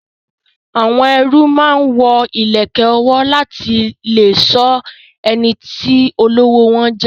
Àwọn ẹrú máa ń wo ìlẹ̀kẹ̀ ọwọ́ láti lè sọ ẹniti olówó wọn jẹ